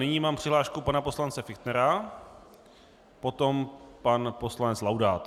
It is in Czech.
Nyní mám přihlášku pana poslance Fichtnera, potom pan poslanec Laudát.